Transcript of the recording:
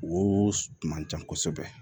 O man ca kosɛbɛ